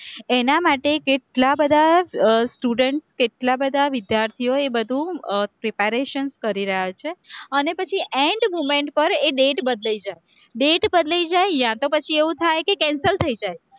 એના માટે કેટલા બધા students કેટલા બધા વિદ્યાર્થીઓ એ બધું preparations કરી રહ્યા છે, અને પછી end moment પર એ date બદલાઈ જાય, date બદલાઈ જાય યા તો પછી એવું થાય કે cancel થઇ જાય.